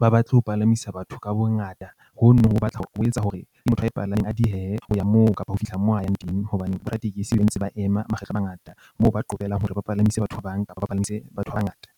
ba batle ho palamisa batho ka bongata ho no ho batla ho etsa hore motho a e palameng a diehehe hoya moo kapa ho fihla moo a yang teng hobane bo raditekesi, ba ntse ba ema makgetlo a mangata moo ba qobellang hore ba palamise batho ba bangata.